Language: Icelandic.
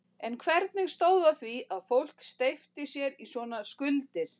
En hvernig stóð á því að fólk steypti sér í svona skuldir?